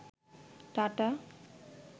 tata